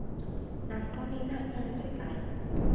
nantoni na eenzekayo